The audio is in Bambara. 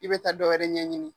I bɛ taa dɔwɛrɛ ɲɛɲini.